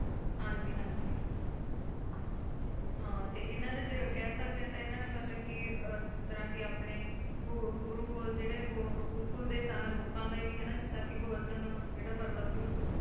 ਹਾਂਜੀ ਹਾਂਜੀ ਆਹੋ ਤੇ ਇਹਨਾਂ ਦੇ ਕਹਿ ਸਕਦੇ ਹੈ ਕੇ ਇਹਨਾਂ ਨੇ ਮੱਤਲਬ ਕੀ ਆਹ ਜਿਸ ਤਰਾਂ ਕੇ ਆਪਣੇ ਗੁਰੂਕੁਲ ਜਿਹੜੇ ਗੋਕੁਲ ਦੇ ਲੋਕਾਂ ਦੇ ਵੀ ਹਨਾ ਜਿਦਾਂ ਕਿ ਗੋਵਰਧਨ ਜਿਹੜਾ ਪਰਵਤ ਸੀ ਉਹਨੂੰ,